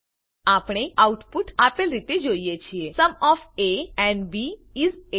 આપણે આઉટપુટ આપેલ રીતે જોઈએ છીએ sum of A and B is 8